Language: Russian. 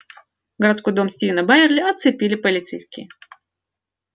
городской дом стивена байерли оцепили полицейские